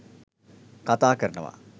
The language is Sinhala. කතා කරනව.